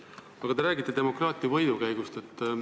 Aga te räägite demokraatia võidukäigust.